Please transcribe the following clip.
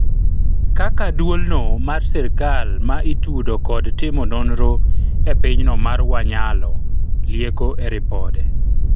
kaka duol no mar sirikal ma itudo kod timo nonro e pinyno mar Wanyalo lieko e ripode